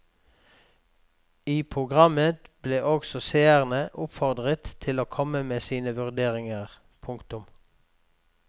I programmet ble også seerne oppfordret til å komme med sine vurderinger. punktum